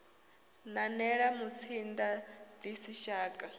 nanela mutsinda ḽi si shaka